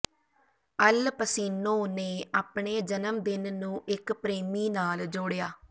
ਅਲ Pacino ਨੇ ਆਪਣੇ ਜਨਮਦਿਨ ਨੂੰ ਇੱਕ ਪ੍ਰੇਮੀ ਨਾਲ ਜੋੜਿਆ